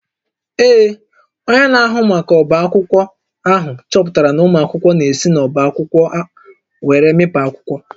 Ee, onye na-ahụ maka ọbá akwụkwọ ahụ chọpụtara na ụmụ akwụkwọ na-esi n’ọ́bá akwụkwọ were amịpụ akwụkwọ